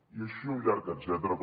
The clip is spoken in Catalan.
i així un llarg etcètera com